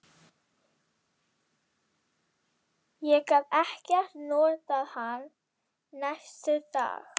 Ég gat ekkert notað hann næstu daga.